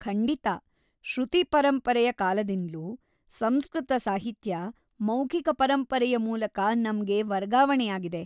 ಖಂಡಿತ! ಶ್ರುತಿ ಪರಂಪರೆಯ ಕಾಲದಿಂದ್ಲೂ ಸಂಸ್ಕೃತ ಸಾಹಿತ್ಯ ಮೌಖಿಕ ಪರಂಪರೆಯ ಮೂಲಕ ನಮ್ಗೆ ವರ್ಗಾವಣೆಯಾಗಿದೆ.